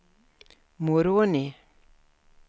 Moroni